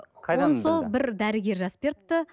ол сол бір дәрігер жазып беріпті